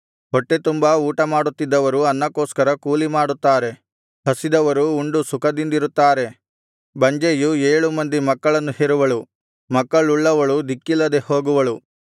ಹೊಟ್ಟೆತುಂಬಾ ಊಟಮಾಡುತ್ತಿದ್ದವರು ಅನ್ನಕ್ಕೋಸ್ಕರ ಕೂಲಿಮಾಡುತ್ತಾರೆ ಹಸಿದವರು ಉಂಡು ಸುಖದಿಂದಿರುತ್ತಾರೆ ಬಂಜೆಯು ಏಳು ಮಂದಿ ಮಕ್ಕಳನ್ನು ಹೆರುವಳು ಮಕ್ಕಳುಳ್ಳವಳು ದಿಕ್ಕಿಲ್ಲದೆ ಹೋಗುವಳು